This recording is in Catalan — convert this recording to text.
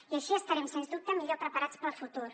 i així estarem sens dubte millor preparats per al futur